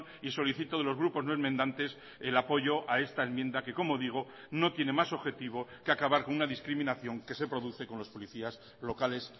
y solicito de los grupos no enmendantes el apoyo a esta enmienda que como digo no tiene más objetivo que acabar con una discriminación que se produce con los policías locales